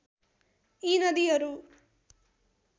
यी नदीहरू